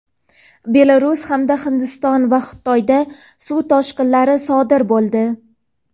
Belarus hamda Hindiston va Xitoyda suv toshqinlari sodir bo‘ldi.